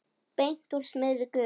Beint úr smiðju Guðs.